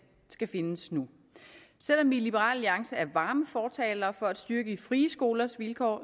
skal findes nu selv om vi i liberal alliance er varme fortalere for at styrke de frie skolers vilkår